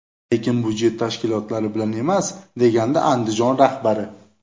Lekin budjet tashkilotlari bilan emas”, degandi Andijon rahbari.